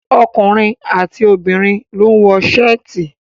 Ọkùnrin àti obìnrin ló ń wọ Ṣáàtì.